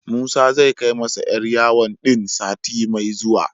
Musa zai kai masa 'yar yawon din sati mai zuwa.